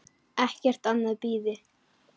Ekkert annað bíði.